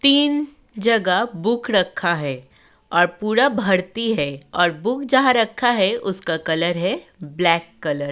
तीन जगह बुक रखा है और पूरा भर्ती है और बुक जहां रखा है उसका कलर है ब्लैक कलर ।